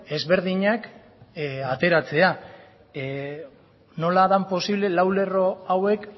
ezberdinak ateratzea nola den posible lau lerro hauek